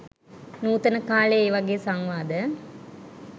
නූතන කාලේ ඒවගේ සංවාද